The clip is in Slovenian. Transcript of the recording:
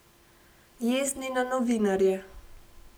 Jezni na novinarje.